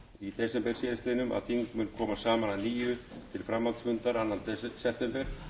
í desember síðastliðnum að þing mun koma saman að nýju til framhaldsfunda annan september